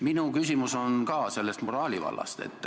Minu küsimus on ka moraali vallast.